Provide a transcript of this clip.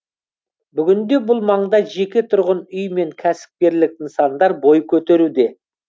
бүгінде бұл маңда жеке тұрғын үй мен кәсіпкерлік нысандар бой көтеруде